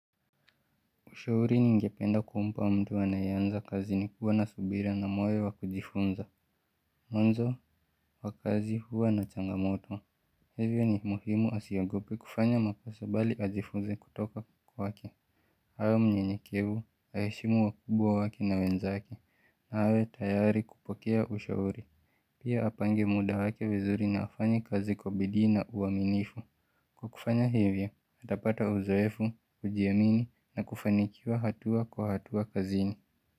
Ushauri ningependa kumpa mtu anayeanza kazi ni kuwa na subira na moyo wa kujifunza. Mwanzo, wakazi huwa na changamoto. Hivyo ni muhimu asiogope kufanya makosa bali ajifunze kutoka kwake awe mnyenyekevu aheshimu wakubwa wake na wenzake. Na awe tayari kupokea ushauri. Pia apange muda wake vizuri na afanye kazi kwa bidii na uaminifu. Kwa kufanya hivyo, atapata uzoefu, kujiamini na kufanikiwa hatua kwa hatua kazini.